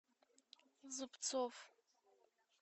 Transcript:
зубцов